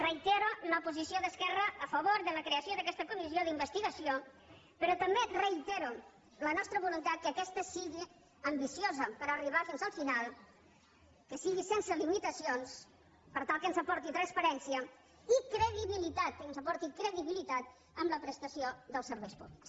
reitero la posició d’esquerra a favor de la creació d’aquesta comissió d’investigació però també reitero la nostra voluntat que aquesta sigui ambiciosa per arribar fins al final que sigui sense limitacions per tal que ens aporti transparència i credibilitat i que ens aporti credibilitat en la prestació dels serveis públics